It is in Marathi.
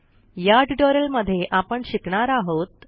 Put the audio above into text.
ह्या ट्युटोरियलमध्ये आपण शिकणार आहोत